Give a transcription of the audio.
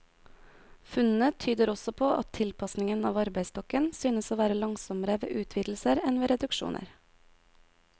Funnene tyder også på at tilpasningen av arbeidsstokken synes å være langsommere ved utvidelser enn ved reduksjoner.